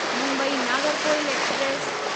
Mumbai Nagercoil express